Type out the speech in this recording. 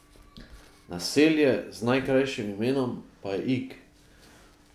Naselje z najkrajšim imenom pa je Ig.